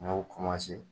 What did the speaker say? N y'o